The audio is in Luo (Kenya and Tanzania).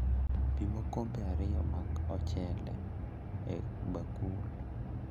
Pim okombe ariyo mag ochele e bakul